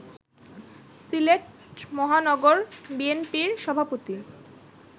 সিলেট মহানগর বিএনপির সভাপতি